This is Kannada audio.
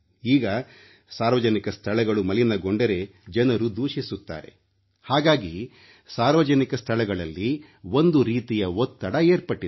ಈಗ ಸಾರ್ವಜನಿಕ ಸ್ಥಳಗಳು ಮಲಿನಗೊಂಡರೆ ಜನರು ದೂಷಿಸುತ್ತಾರೆ ಹಾಗಾಗಿ ಸಾರ್ವಜನಿಕ ಸ್ಥಳಗಳಲ್ಲಿ ಒಂದು ರೀತಿಯ ಒತ್ತಡ ಏರ್ಪಟ್ಟಿದೆ